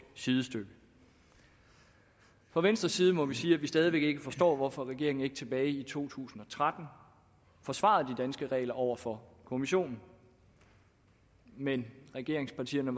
sidestykke fra venstres side må vi sige at vi stadig væk ikke forstår hvorfor regeringen ikke tilbage i to tusind og tretten forsvarede de danske regler over for kommissionen men regeringspartierne